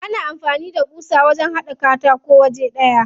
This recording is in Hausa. Ana amfani da ƙusa wajen haɗa katako waje ɗaya.